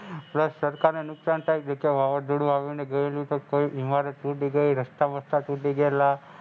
Plus સરકારને નુકસાન થાય પછી વાવાઝોડું આવ્યું અને ગાયેઉ કોઈ ઇમારત તૂટી ગઈ, રસ્તા વસતા તૂટી ગયેલા.